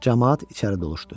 Camaat içəri doluşdu.